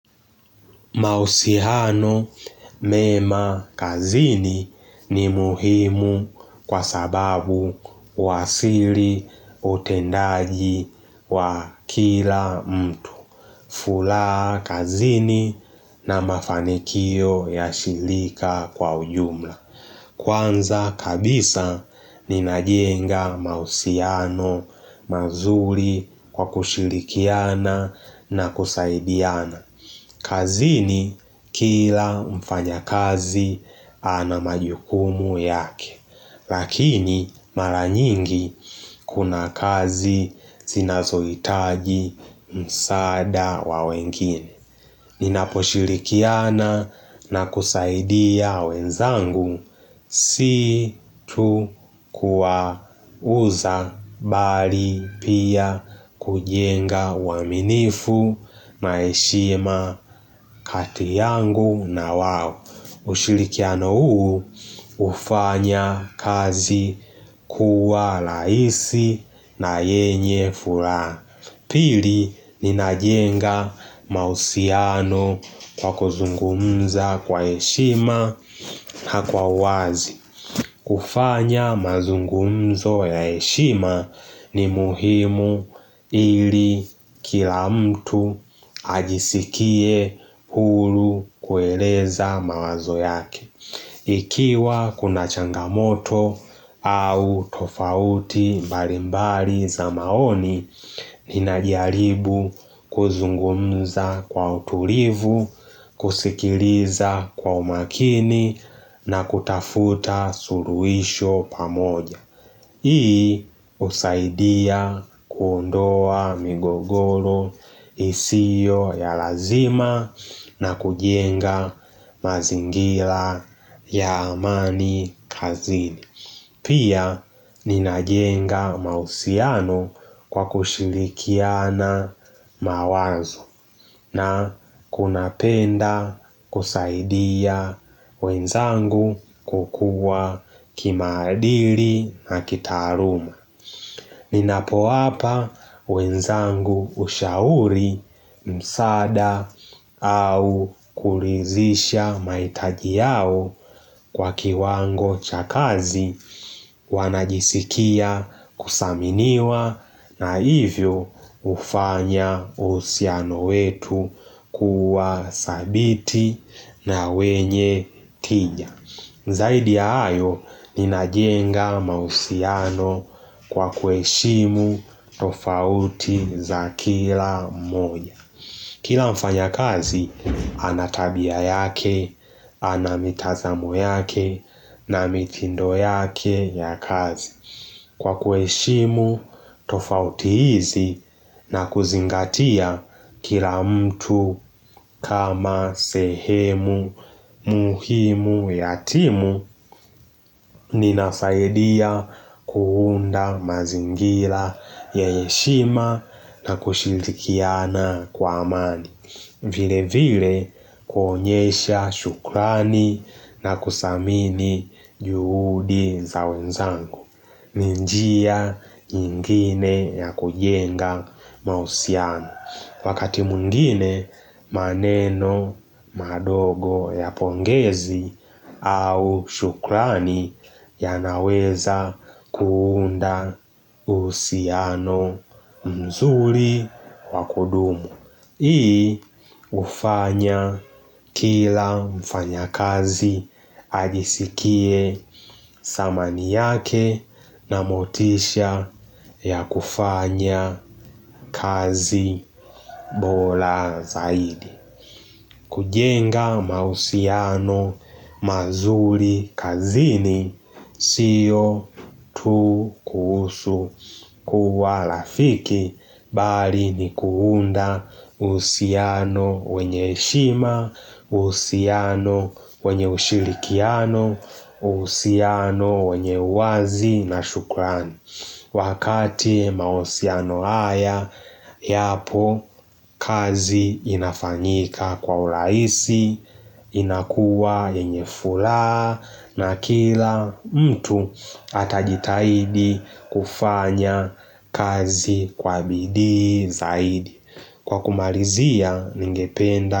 Mahusiano mema kazini ni muhimu kwa sababu wa siri utendaji wa kila mtu. Furaha kazini na mafanikio ya shirika kwa ujumla. Kwanza kabisa ninajenga mahusiano mazuri kwa kushirikiana na kusaidiana. Kazini kila mfanyakazi ana majukumu yake, lakini mara nyingi kuna kazi zinazohitaji msaada wa wengine. Ninaposhirikiana na kusaidia wenzangu si tu kuwauza bali pia kujenga uaminifu na heshima kati yangu na wao ushirikiano huu hufanya kazi kuwa rahisi na yenye furaha pili ninajenga mahusiano kwa kuzungumza kwa heshima na wazi. Kufanya mazungumzo ya heshima ni muhimu ili kila mtu ajisikie huru kueleza mawazo yake. Ikiwa kuna changamoto au tofauti mbalimbali za maoni, ninajaribu kuzungumza kwa utulivu, kusikiliza kwa umakini na kutafuta suluhisho pamoja. Hii husaidia kuondoa migogoro isio ya lazima na kujenga mazingira ya amani kazini. Pia ninajenga mahusiano kwa kushirikiana mawazo na kunapenda kusaidia wenzangu kukua kimaadili na kitaaluma. Ninapoa pa wenzangu ushauri msaada au kuulizisha mahitaji yao kwa kiwango cha kazi wanajisikia kuthaminiwa na hivyo hufanya uhusiano wetu kuwa sabiti na wenye tija. Zaidi ya hayo, ninajenga mahusiano kwa kuheshimu tofauti za kila moja. Kila mfanyakazi, ana tabia yake, ana mitazamo yake, na mitindo yake ya kazi. Kwa kuheshimu tofauti hizi na kuzingatia kila mtu kama sehemu muhimu ya timu, ninafaidia kuunda mazngira ya heshima na kushirikiana kwa amani. Vile vile kuonyesha shukrani na kusamini juhudi za wenzangu. Ni njia ingine ya kujenga mahusiano. Wakati mwingine maneno madogo ya pongezi au shukrani yanaweza kuunda uhusiano mzuri wa kudumu. Hii hufanya kila mfanyakazi ajisikie samani yake na motisha ya kufanya kazi bora zaidi. Kujenga mahusiano mazuri kazini sio tu kuhusu kuwa rafiki bali ni kuunda uhusiano wenye heshima, uhusiano wenye ushirikiano, uhusiano wenye wazi na shukrani. Wakati mahusiano haya, yapo kazi inafanyika kwa urahisi, inakuwa yenye furaha na kila mtu atajitahidi kufanya kazi kwa bidii zaidi. Kwa kumalizia, ningependa.